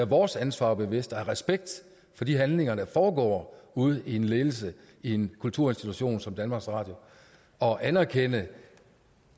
vores ansvar bevidst og have respekt for de handlinger der foregår ude i en ledelse i en kulturinstitution som danmarks radio og anerkende